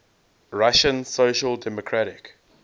russian social democratic